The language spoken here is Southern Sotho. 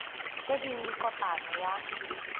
tse ding le kopano ya